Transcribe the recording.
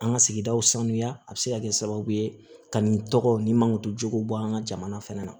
An ka sigidaw sanuya a bɛ se ka kɛ sababu ye ka nin tɔgɔw nin mankojo bɔ an ka jamana fana na